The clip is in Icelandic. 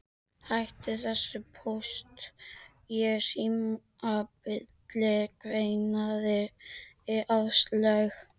Hættu þessu Póst og Síma bulli kveinaði Áslaug.